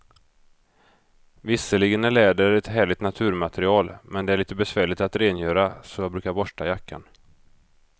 Visserligen är läder ett härligt naturmaterial, men det är lite besvärligt att rengöra, så jag brukar borsta jackan.